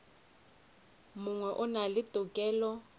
mongwe o na le tokelo